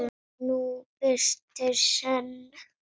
nú birtir senn.